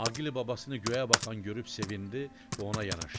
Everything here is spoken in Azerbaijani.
Aqil babasını göyə baxan görüb sevindi və ona yanaşdı.